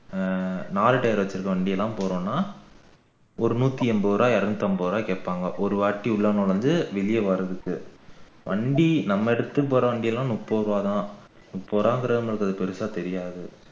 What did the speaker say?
ஆஹ் நாலு tire வச்சிருக்கிற வண்டி எல்லாம் போகணும்னா ஒரு நூற்றி ஐம்பது ரூபாய் இருநூற்றி ஐம்பது ரூபாய் கேப்பாங்கா ஒருவாட்டி உள்ள நுழைஞ்சு வெளிய வாரதுக்கு வண்டி நம்ம எடுத்துட்டு போற வண்டி எல்லாம் முப்பது ரூபாய்தான் முப்பது ரூபாய் என்கிறது நமக்கு அது பெரிசா தெரியாது